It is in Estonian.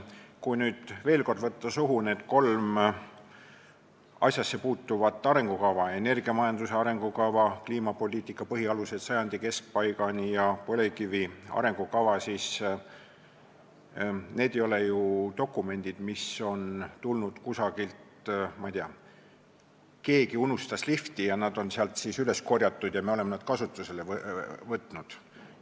Kui nüüd veel kord võtta suhu need kolm asjasse puutuvat arengukava – energiamajanduse arengukava, kliimapoliitika põhialused sajandi keskpaigani ja põlevkivi arengukava –, siis need ei ole ju dokumendid, mis on tulnud kuidagi nii, ma ei tea, et keegi unustas lifti ja nad on sealt siis üles korjatud ja me oleme nad kasutusele võtnud.